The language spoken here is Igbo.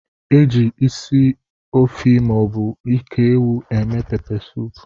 Eji ịsị efi maọbu nke ewụ eme pepe soupu.